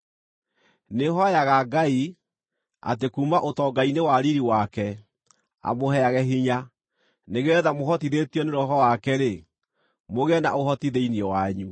Nĩhooyaga Ngai, atĩ kuuma ũtonga-inĩ wa riiri wake, amũheage hinya, nĩgeetha mũhotithĩtio nĩ Roho wake-rĩ, mũgĩe na ũhoti thĩinĩ wanyu,